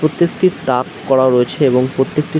প্রত্যেকটির তাক করা রয়েছে এবং প্রত্যেকটি --